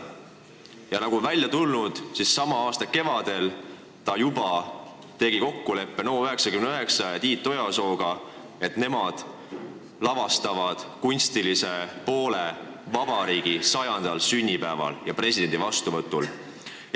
Aga nagu on välja tulnud, sama aasta kevadel ta juba tegi kokkuleppe NO99 ja Tiit Ojasooga, et nemad vastutavad vabariigi 100. sünnipäeval ja presidendi vastuvõtul kunstilise poole eest.